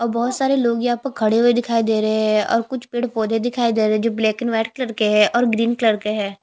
और बहोत सारे लोग यहाँ पर खड़े हुवे दिखाई दे रहे है और कुछ पेड़ पौधे दिखाई दे रहे है जो ब्लैक एंड वाइट कलर के है और ग्रीन कलर के है।